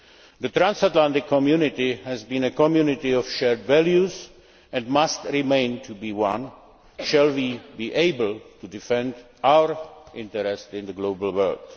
issue. The transatlantic community has been a community of shared values and must remain one if we are to be able to defend our interests in the global